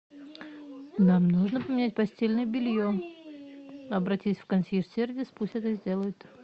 нам нужно поменять постельное белье обратись в консьерж сервис пусть это сделают